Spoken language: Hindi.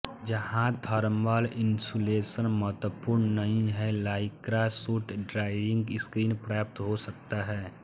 जहां थर्मल इन्सुलेशन महत्वपूर्ण नहीं है लाइक्रा सूट डाइविंग स्किन पर्याप्त हो सकता है